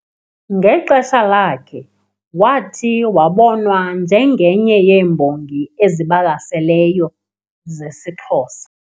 Ngexesha lakhe, wathi wabonwa njengenye yeembongi ezibalaseleyo zesiXhosa kuzo kukho oo, MK Mtakati no .